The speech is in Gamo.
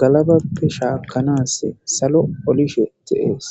galabappe shaakkanas salo olishe de7ees